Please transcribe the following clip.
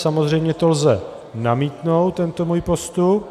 Samozřejmě to lze namítnout, tento můj postup.